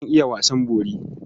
Zan iya wasan bori.